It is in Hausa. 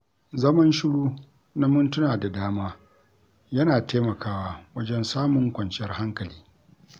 Zaman shiru na mintuna da dama yana taimakawa wajen samun kwanciyar hankali.